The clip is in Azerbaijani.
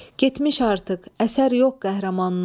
Getmiş artıq, əsər yox qəhrəmanından.